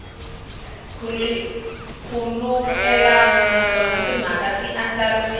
nkhulukelano naswona timhaka ti andlariwile